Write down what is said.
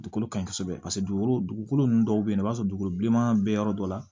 Dugukolo ka ɲi kosɛbɛ paseke dugukolo nunnu dɔw be yen nɔ i b'a sɔrɔ dugukolo bilenman bɛ yɔrɔ dɔ la